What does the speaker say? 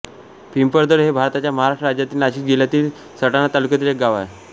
पिंपळदर हे भारताच्या महाराष्ट्र राज्यातील नाशिक जिल्ह्यातील सटाणा तालुक्यातील एक गाव आहे